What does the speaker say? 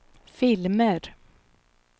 filmer